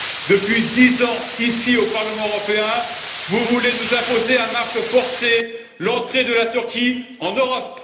Depuis dix ans, au Parlement européen, vous voulez nous imposer à marche forcée l'entrée de la Turquie en Europe!